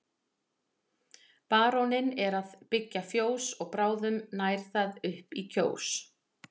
Baróninn er að byggja fjós og bráðum nær það upp í Kjós.